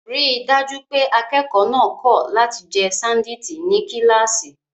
Rí i dájú pé akẹ́kọ̀ọ́ náà kọ̀ láti jẹ ṣándíìtì ní kíláàsì.